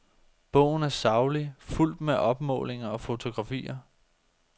Bogen er saglig, fuldt med opmålinger og fotografier.